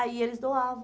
Aí eles doavam.